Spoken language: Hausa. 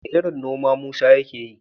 Wane irin noma Musa yake yi?